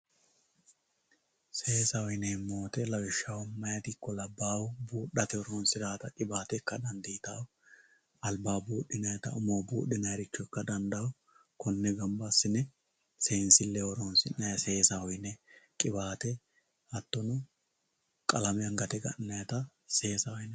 Seesaho yineemmo woyte lawishshaho maayati ikko labbahu budhetta ikka dandiittano, albaho budhinannitta umoho budhinannitta ikka dandaano konne gamba assine seensileho qiwate hattono qalame angate gananitta seesaho yinanni.